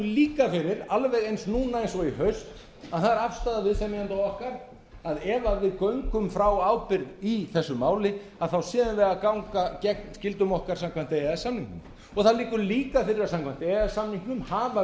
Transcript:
líka fyrir alveg eins núna eins og í haust að það er afstaða viðsemjenda okkar að ef við göngum frá ábyrgð í þessu máli þá séum við að ganga gegn skyldum okkar samkvæmt e e s samningnum það liggur líka fyrir samkvæmt e e s samningnum hafa